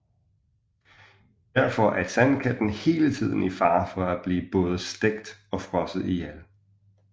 Derfor er Sandkatten hele tiden i fare for at blive både stegt og frosset ihjel